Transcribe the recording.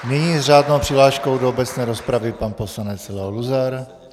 Nyní s řádnou přihláškou do obecné rozpravy pan poslanec Leo Luzar.